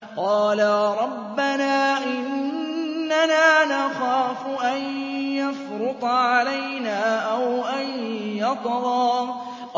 قَالَا رَبَّنَا إِنَّنَا نَخَافُ أَن يَفْرُطَ عَلَيْنَا أَوْ أَن يَطْغَىٰ